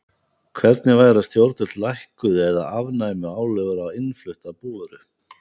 Hvernig væri að stjórnvöld lækkuðu eða afnæmu álögur á innflutta búvöru?